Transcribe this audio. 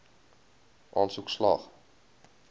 aansoek slaag